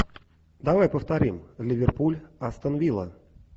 давай повторим ливерпуль астон вилла